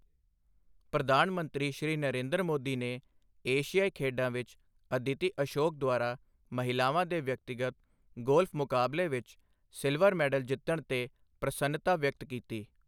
ਪ੍ਰਧਾਨ ਮੰਤਰੀ, ਸ਼੍ਰੀ ਨਰੇਂਦਰ ਮੋਦੀ ਨੇ ਏਸ਼ਿਆਈ ਖੇਡਾਂ ਵਿੱਚ ਅਦਿਤੀ ਅਸ਼ੋਕ ਦੁਆਰਾ ਮਹਿਲਾਵਾਂ ਦੇ ਵਿਅਕਤੀਗਤ ਗੋਲਫ ਮੁਕਾਬਲੇ ਵਿੱਚ ਸਿਲਵਰ ਮੈਡਲ ਜਿੱਤਣ ਤੇ ਪ੍ਰਸੰਨਤਾ ਵਿਅਕਤ ਕੀਤੀ।